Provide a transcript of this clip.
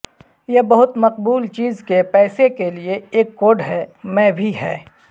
یہ بہت مقبول چیز کے پیسے کے لئے ایک کوڈ ہے میں بھی ہے